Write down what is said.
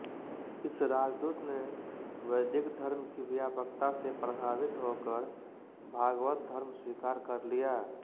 इस राजदूत ने वैदिक धर्म की व्यापकता से प्रभावित होकर भागवत धर्म स्वीकार कर लिया